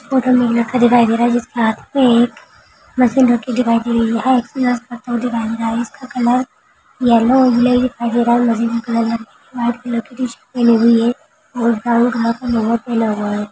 photo मे एक लड़का दिखाई दे रहा है जिसके हात मे एक मशीन रखी दिखाई दे रही है इसका कलर व्हाइट कलर की टीशर्ट पहनी हुई है और ब्राउन कलर का --